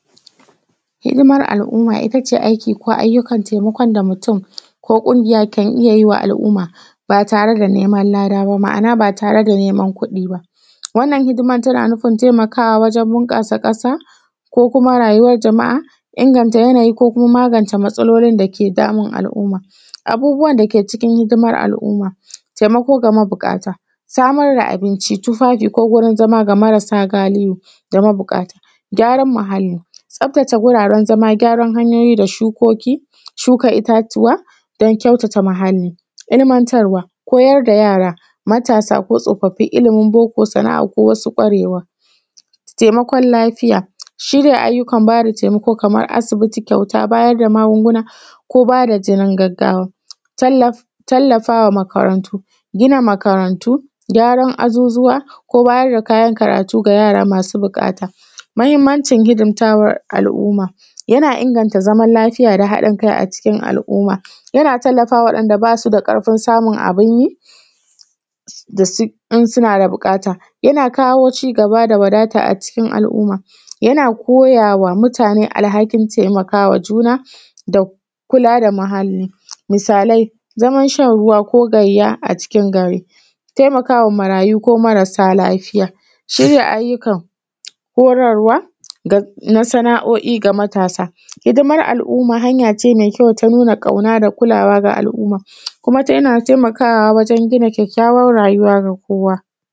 Hidimar al'umma, ita ce aiki ko ayyukan taimakon da mutum ko ƙungiya kan iya yi wa al’umma, ba tare da neman lada ba. Ma’ana ba tar da neman kuɗi ba. Wannan hidima tana nufin taimakawa wajen bunƙasa ƙasa ko kuma rayuwar jama’a, inganta yanayi ko kuma magance matsalolin da ke damun a’'umma. Abubuwan da ke cikin hidimar al’umma.taimakon ga mabuƙata, samar da abinci, tufafi ko wurin zama ga marasa galihu, da mabuƙat, gyaran muhalli, tsaftace guraren zama gyaran hanyoyi, da shukoki, shuka itatuwa don kyautata muhalli, ilmantarwa, koyar da yara, matasa ko tsofaffi ilimin boko, sana'a ko wasu kwarewa, taimakon lafiya, shirya ayyukan ba da taimakon kamar asibiti, kyauta, bayar da magunguna ko ba da jinin gaggawa. Tallaf, tallafawa makarantu, gina makarantu, gyaran azuzuwa, ko bayar da kayan karatu ga yara masu buƙata. Mahimmancin hidimtawa al’umma, yana inganta zaman lafiya da haɗin kai a cikin al'umma. Yana tallafawa wa’yanda ba su da ƙarfin samun abun yi. Da su...in suna da buƙata. Yana kawo cigaba da wadata a cikin al'umma. Yana koyawa mutane alhakin taimakawa juna, da kula da muhalli. Misalai Zaman shan ruwa ko gayya a cikin gari, taimakawa marayu ko marasa lafiya, shirya ayyukan horarwa, na sana'o'i ga matasa. Hidimar al’umma.hanya ce ta nuna kauna da kulawa ga al'umma. Kuma tana taimakawa wajen gina kyawawan rayuwa ga kowa.